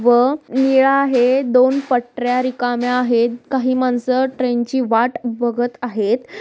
व निळा आहे दोन पटर्‍या रिकाम्या आहेत काही माणसं ट्रेन ची वाट बघत आहेत.